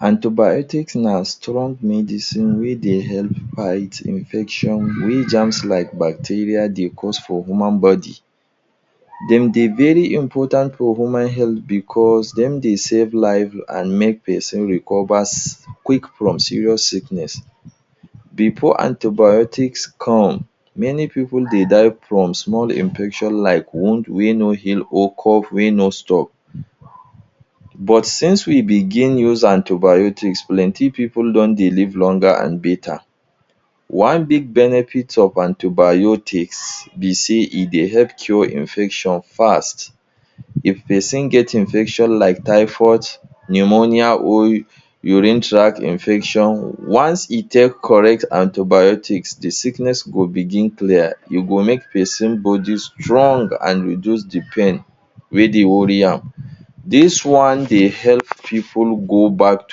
Antibiotics na strong medicine wey dey help fight infection wey germs like bacteria dey cause for human body. Dem dey very important for human health because dem dey save lives and make person recovers quick from serious sickness. Before antibiotics come, many people dey die from small infections like wound wey no heal or cough wey no stop. But since we begin use antibiotics, plenty people don dey live longer and better. One big benefit of antibiotics be say e dey help cure infection fast. If person get infection like typhoid, pneumonia, or urinary tract infection, once e take correct antibiotics, the sickness go begin clear, e go make person body strong and reduce the pain wey dey worry am. This one dey help people go back to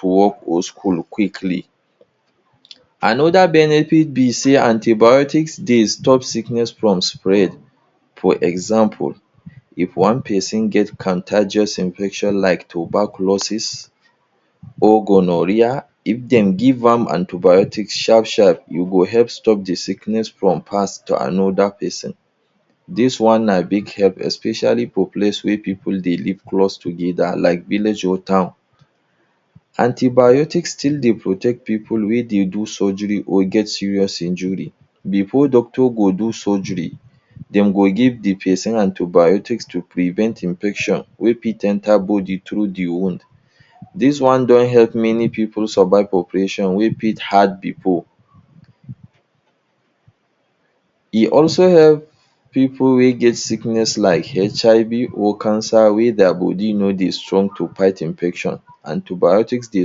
school or work quickly. Another benefit be say antibiotics dey stop sickness from spread. For example, if one person get contagious infection like tuberculosis or gonorrhea, if them give am antibiotics sharp sharp, u go help stop the sickness from pass to another person. This one na big help especially for places wey people dey live close together like village or town. Antibiotics still dey protect people wey dey do surgery or get serious injury. Before doctor go do surgery, dem go give the person antibiotics to prevent infection wey fit enter body through the wound. This one don help many people survive operation wey fit hard pipu. E also help people wey get sickness like HIV or cancer wey their body no strong to fight infection. Antibiotics dey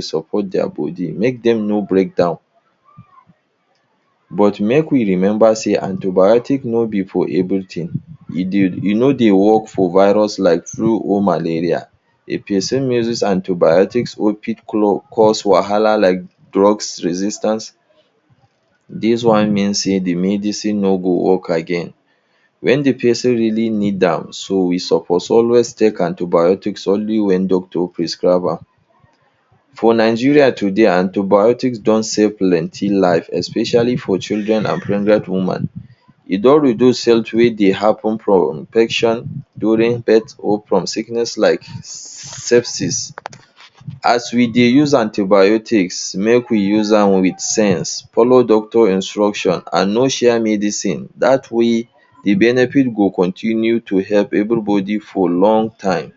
support their body make dem no break down. But make we remember say antibiotics no be for everything. E no dey work for virus like flu or malaria. If person misuse antibiotics, oh fit cause wahala like drug resistance. This one mean say the medicine no go work again when the person really need am. So, we suppose only take antibiotics when the doctor prescribe am. For Nigeria today, antibiotics don save plenty lives, especially for children and pregnant women. E don reduce deaths wey dey happen from infection during birth or from sickness like sepsis. As we dey use antibiotics, make we use am with sense. Follow doctor instruction and no share medicine. That way, the benefits go continue to help everybody for long time.